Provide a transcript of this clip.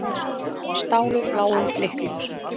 Stálu bláum blikkljósum